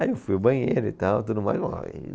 Aí eu fui ao banheiro e tal, tudo mais lá.